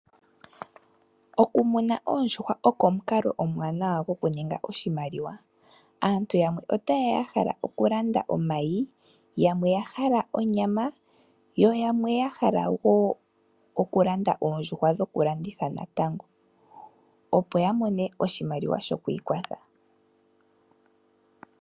Okumuna oondjuhwa oko omukalo omuwanawa goku ninga oshimaliwa. Aantu yamwe otayeya yahala okulanda omayi yamwe yahala onyama yoyamwe yahala woo okulanda oondjuhwa dhoku landitha natango opo yamone oshimaliwa sho kwiikwatha.